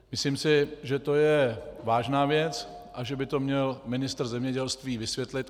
Myslím si, že to je vážná věc a že by to měl ministr zemědělství vysvětlit.